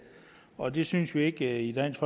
og det synes vi ikke i dansk